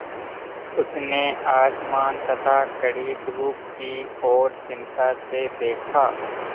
उसने आसमान तथा कड़ी धूप की ओर चिंता से देखा